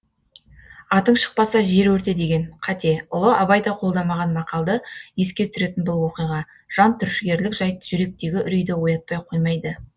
атың шықпаса жер өрте деген қате ұлы абай да қолдамаған мақалды еске түсіретін бұл оқиға жантүршігерлік жайт жүректегі үрейді оятпай қоймайды